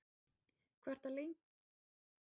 Hvað ertu lengi að koma þér í gagn á morgnana?